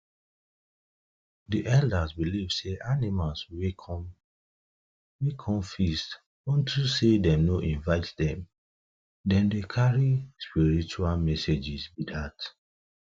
the elders believe say animals wey come feast on to say them um no invite them them dey carry spiritual messages be dat